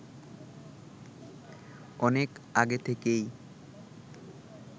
অনেক আগে থেকেই